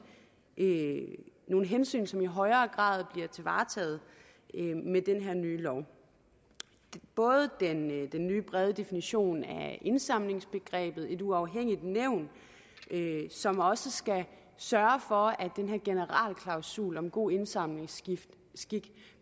nogle hensyn som i højere grad bliver varetaget med den her nye lov både den nye brede definition af indsamlingsbegrebet og det uafhængige nævn som også skal sørge for at den her generalklausul om god indsamlingsskik